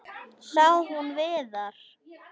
Sá hún Viðar?